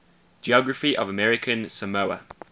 geography of american samoa